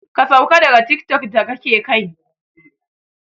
Ka sauka daga tiktok da kake kai!